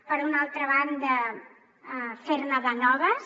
per una altra banda fer ne de noves